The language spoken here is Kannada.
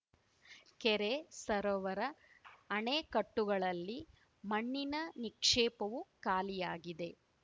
ಕೆರೆ ಸರೋವರ ಅಣೆಕಟ್ಟುಗಳಲ್ಲಿ ಮಣ್ಣಿನ ನಿಕ್ಷೇಪವೂ ಖಾಲಿಯಾಗಿದೆ